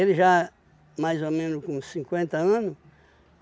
Ele já mais ou menos com cinquenta anos.